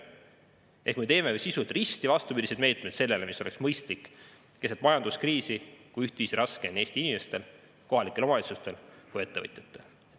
Ehk me teeme sisult risti vastupidiseid meetmeid sellele, mis oleks mõistlik keset majanduskriisi, kui ühtviisi raske on Eesti inimestel, kohalikel omavalitsustel ja ettevõtjatel.